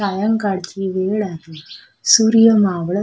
सायंकाळची वेळ आहे सूर्य मावळत--